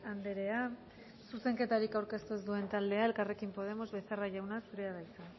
andrea zuzenketarik aurkeztu ez duen taldea elkarrekin podemos becerra jauna zurea da hitza